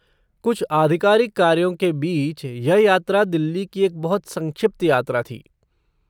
कुछ आधिकारिक कार्यों के बीच यह यात्रा दिल्ली की एक बहुत संक्षिप्त यात्रा थी।